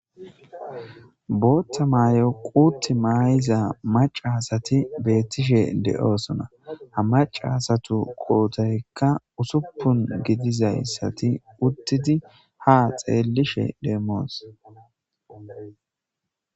Bootta mayo quutt maayiza macaasati beettishe de7oosona ha macasatu qootoykka usuppun gidizayssati uttidi ha xeellishe deemmoos